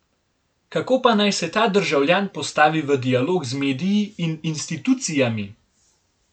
Kako pa naj se ta državljan postavi v dialog z mediji in institucijami?